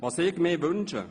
Was ich mir wünsche?